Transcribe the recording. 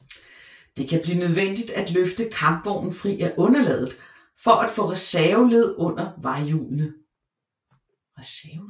Det kan blive nødvendigt at løfte kampvognen fri af underlaget for at få reserveled under vejhjulene